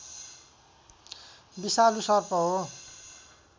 विषालु सर्प हो